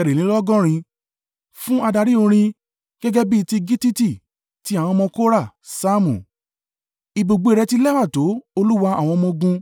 Fún adarí orin. Gẹ́gẹ́ bí ti gittiti. Ti àwọn ọmọ Kora. Saamu. Ibùgbé rẹ̀ ti lẹ́wà tó, Olúwa àwọn ọmọ-ogun!